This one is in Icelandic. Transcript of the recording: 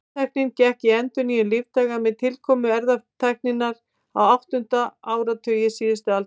Líftæknin gekk í endurnýjun lífdaga með tilkomu erfðatækninnar á áttunda áratugi síðustu aldar.